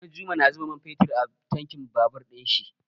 Ɗanjuma na zuba man fetur a tankin babur ɗin shi.